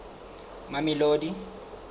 mamelodi